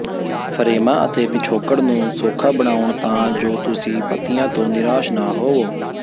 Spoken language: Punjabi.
ਫਰੇਮਾਂ ਅਤੇ ਪਿਛੋਕੜ ਨੂੰ ਸੌਖਾ ਬਣਾਉ ਤਾਂ ਜੋ ਤੁਸੀਂ ਪੱਤੀਆਂ ਤੋਂ ਨਿਰਾਸ਼ ਨਾ ਹੋਵੋ